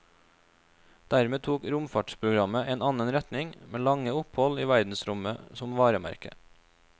Dermed tok romfartsprogrammet en annen retning, med lange opphold i verdensrommet som varemerke.